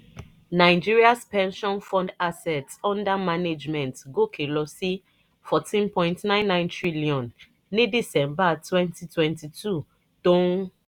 nigeria's pension fund assets under management gòkè lọ sí fourteen point nine nine trillion ní december twenty twenty two tó ń